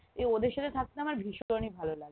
এই ওদের সাথে থাকতে আমার ভীষণই ভালো লাগে